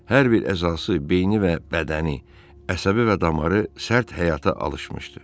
Hər bir əzası, beyni və bədəni, əsəbi və damarı sərt həyata alışmışdı.